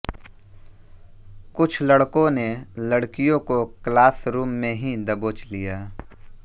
कुछ लड़कों ने लड़कियों को क्लास रूम में ही दबोच लिया